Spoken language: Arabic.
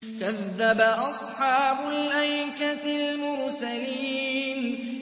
كَذَّبَ أَصْحَابُ الْأَيْكَةِ الْمُرْسَلِينَ